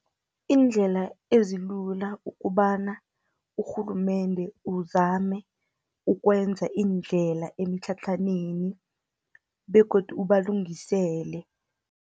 Iindlela ezilula ukobana urhulumende uzame ukwenza iindlela eemtlhatlhaneni, begodu ubalungisele.